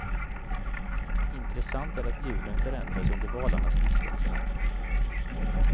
Intressant är att ljuden förändras under valarnas vistelse här.